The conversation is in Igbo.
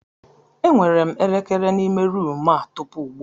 Enwere m elekere n'ime ruumu a tupu ugbu a.